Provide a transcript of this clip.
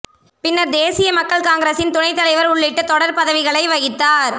பின்னர் தேசிய மக்கள் காங்கிரசின் துணைத் தலைவர் உள்ளிட்ட தொடர் பதவிகளை வகித்தார்